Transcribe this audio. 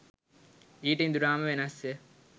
ඊට ඉඳුරාම වෙනස්ය